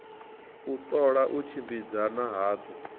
u ṱola u tshimbidzana hadzo